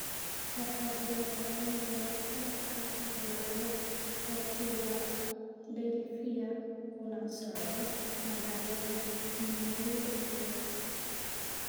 waxaa jira tareen galabta ka duulaya philadelphia kuna socda magaalada new york